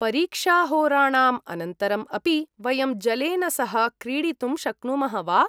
परीक्षाहोराणाम् अनन्तरं अपि वयं जलेन सह क्रीडितुं शक्नुमः वा?